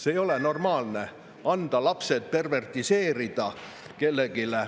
See ei ole normaalne, anda lapsed perverteerida kellelegi.